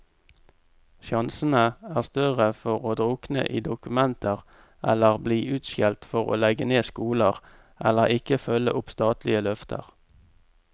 Sjansene er større for å drukne i dokumenter eller bli utskjelt for å legge ned skoler, eller ikke følge opp statlige løfter.